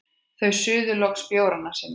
Þau suðu loks bjórana sína.